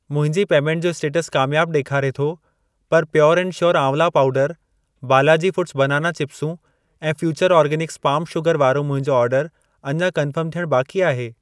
मुंहिंजी पेमेंट जो स्टेटस कामयाब ॾेखारे थो, पर प्योर एंड श्योर आंवला पाउडरु, बालाजी फूड्स बनाना चिप्सूं ऐं फ्यूचर ऑर्गॅनिक्स पाम शुगर वारो मुंहिंजो ऑर्डर अञा कन्फर्म थियण बाक़ी आहे।